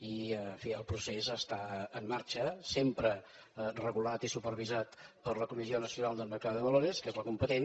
i en fi el procés està en marxa sempre regulat i supervisat per la comisión nacional del mercado de valores que és la competent